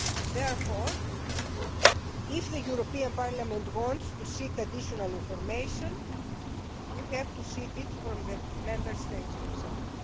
Therefore, if the European Parliament wants to seek additional information, you have to seek it from the Member States concerned.